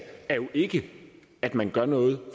er jo ikke at man gør noget